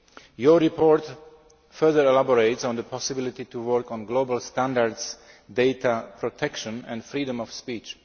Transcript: Your report further elaborates on the possibility of working on global standards, data protection and freedom of speech.